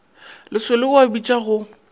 lesolo o a bitša go